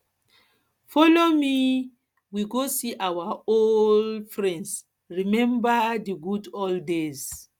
folo me make um we go see our old um friends rememba di good old days